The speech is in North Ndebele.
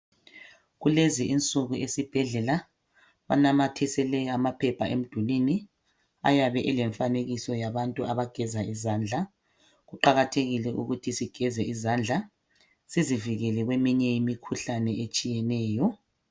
Kulezi insuku esibhedlela banamathisele amaphepha emdulini ayabe elemfanekiso yabantu abageza izandla kuqakathekile ukuthi sigeze izandla sizivikele kweminye imikhuhlane etshiyeneyo